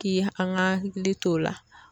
K'i an g'an hakili t' o la